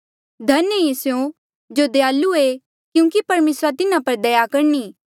धन्य ऐें स्यों जो दयालु ऐें क्यूंकि परमेसरा तिन्हा पर दया करणी